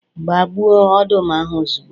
Gbaa gbuo ọdụm ahụ ozugbo